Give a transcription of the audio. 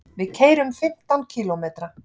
Við keyrum fimmtán kílómetra.